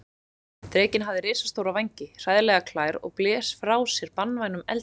Drekinn hafði risastóra vængi, hræðilegar klær og blés frá sér banvænum eldi.